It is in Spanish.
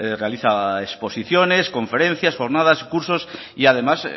realiza exposiciones conferencias jornadas cursos y además